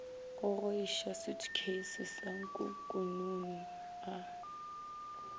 gogoiša sutukheisi sa nkukununu a